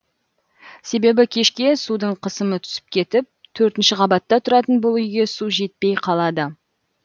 себебі кешке судың қысымы түсіп кетіп төртінші қабатта тұратын бұл үйге су жетпей қалады